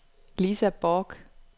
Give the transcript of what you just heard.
Lisa Borch